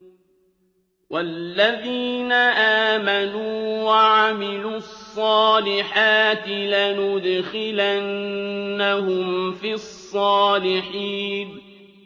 وَالَّذِينَ آمَنُوا وَعَمِلُوا الصَّالِحَاتِ لَنُدْخِلَنَّهُمْ فِي الصَّالِحِينَ